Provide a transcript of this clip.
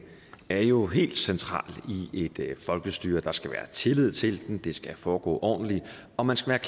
er jo helt central i et folkestyre der skal være tillid til den det skal foregå ordentligt og man skal